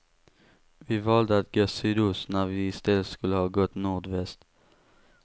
Vi valde att gå sydost, när vi istället skulle ha gått nordväst.